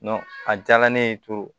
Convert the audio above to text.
a diyara ne ye